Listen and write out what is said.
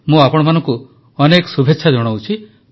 ମୁଁ ଆପଣମାନଙ୍କୁ ଅନେକ ଶୁଭେଚ୍ଛା ଜଣାଉଛି